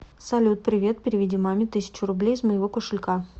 салют привет переведи маме тысячу рублей из моего кошелька